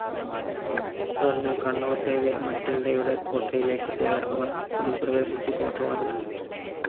തുടർന്ന് കണ്ണോസയിലെ മറ്റിൽഡയുടെ കോട്ടയിലേക്ക് പോയ അവർ അതിൽ പ്രവേശിച്ച് കോട്ടവാതിൽ അടച്ചു.